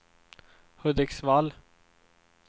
Hudiksvall